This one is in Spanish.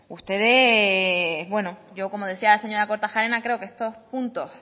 yo como decía la señora kortajarena creo que estos puntos